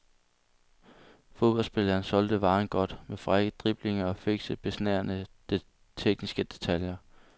Fodboldspilleren solgte varen godt, med frække driblinger og fikse, besnærende tekniske detaljer.